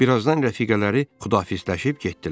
Bir azdan rəfiqələri Xudafisləşib getdilər.